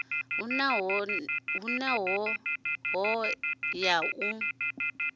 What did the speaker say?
hu na hoea ya u